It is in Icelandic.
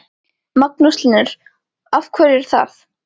Magnús Hlynur: Af hverju er það?